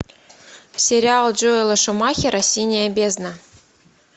сериал джоэла шумахера синяя бездна